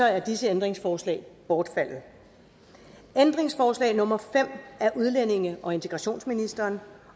er disse ændringsforslag bortfaldet ændringsforslag nummer fem af udlændinge og integrationsministeren